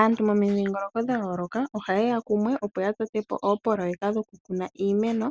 Aantu mo mi dhingoloko dha yooloka oha ye ya kumwe opo ya totepo oopoloyeka dhoku kuna iimeno